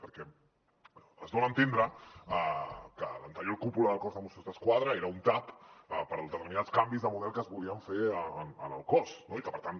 perquè es dona a entendre que l’anterior cúpula del cos de mossos d’esquadra era un tap per a determinats canvis de model que es volien fer en el cos no i que per tant